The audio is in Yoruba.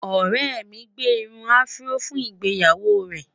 ọrẹ mí gbé irún afro fún ìgbéyàwó rè